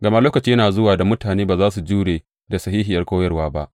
Gama lokaci yana zuwa da mutane ba za su jure da sahihiyar koyarwa ba.